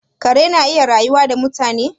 Kare yana iya rayuwa da mutane?